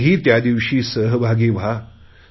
आपणही त्यादिवशी सहभागी व्हा